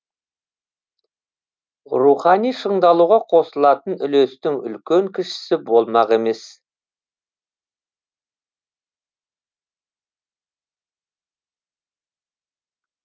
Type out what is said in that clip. рухани шыңдалуға қосылатын үлестің үлкен кішісі болмақ емес